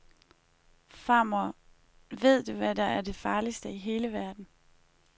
Farmor, véd du hvad der er det farligste i hele verden.